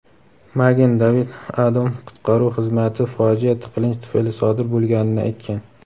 Magen David Adom qutqaruv xizmati fojia tiqilinch tufayli sodir bo‘lganini aytgan.